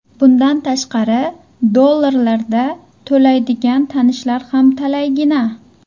Bundan tashqari dollarlarda to‘laydigan tanishlar ham talaygina.